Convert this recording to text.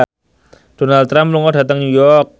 Donald Trump lunga dhateng New York